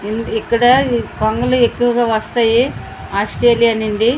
ఇక్కడ ఈ కొంగలు ఎక్కువ వస్తాయి ఆస్త్రేలియ నుండి --